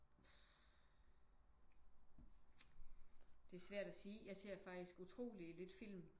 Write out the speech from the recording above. Uf det er svært at sige. Jeg ser faktisk utrolig lidt film